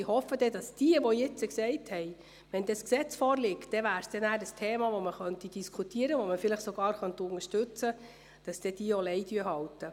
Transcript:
Ich hoffe, diejenigen unter Ihnen, die jetzt gesagt haben, dass das Thema diskutiert werden könne, sobald ein Gesetz vorliege und dieses vielleicht sogar unterstützt werden könne, werden dann auch Lei halten.